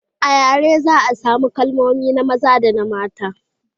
a yare za a samu kalmomi na maza da na mata